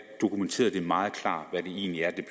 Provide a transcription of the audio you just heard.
dokumenterede meget klart hvad det egentlig er det